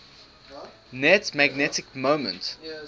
net magnetic moment